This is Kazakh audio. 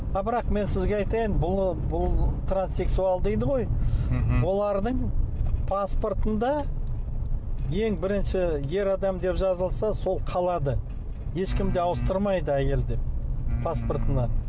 а бірақ мен сізге айтайын бұл бұл транссексуал дейді ғой мхм олардың паспортында ең бірінші ер адам деп жазылса сол қалады ешкім де ауыстырмайды әйел деп паспортына